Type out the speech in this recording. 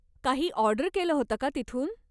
काही ऑर्डर केलं होतं का तिथून?